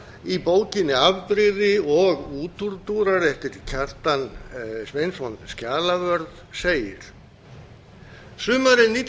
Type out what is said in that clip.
í bókinni afbrigði og útúrdúrar eftir kjartan sveinsson skjalavörð segir sumarið